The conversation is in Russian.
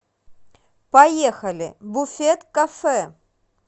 поехали буфет кафе